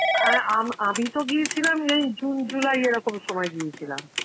অ্যাঁ আম~ আমি তো গিয়েছিলাম এই June, July এরকম সময় গিয়েছিলাম.